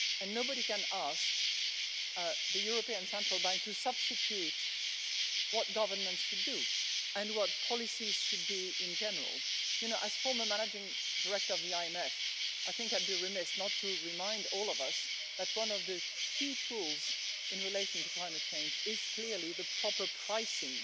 Nobody can ask the European Central Bank to substitute what governments should do and what policies should be in general. As former managing director of the IMF, I think I'd be remiss not to remind all of us that one of the key tools in relation to climate change is clearly the proper pricing